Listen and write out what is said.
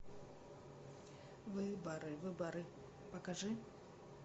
выборы выборы покажи